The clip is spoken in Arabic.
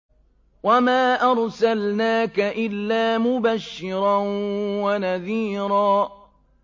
وَمَا أَرْسَلْنَاكَ إِلَّا مُبَشِّرًا وَنَذِيرًا